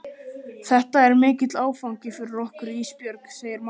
Þetta er mikill áfangi fyrir okkur Ísbjörg, segir mamma.